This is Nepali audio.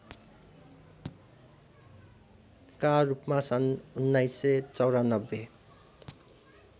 का रूपमा सन् १९९४